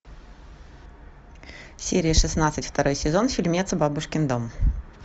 серия шестнадцать второй сезон фильмец бабушкин дом